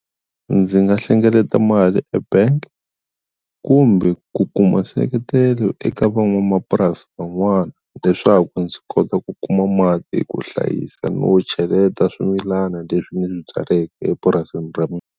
Ndzi nga hlengeleta mali ebank kumbe ku kuma seketelo eka van'wamapurasi van'wana leswaku ndzi kota ku kuma mati ku hlayisa no cheleta swimilana leswi ni swi byaleke epurasini ra .